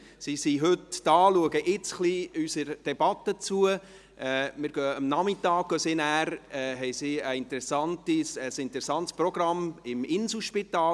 Sie sind heute hier, schauen jetzt ein bisschen unserer Debatte zu und haben am Nachmittag ein interessantes Programm mit Führung im Inselspital.